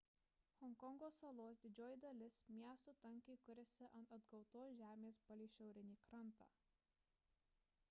honkongo salos didžioji dalis miestų tankiai kuriasi ant atgautos žemės palei šiaurinį krantą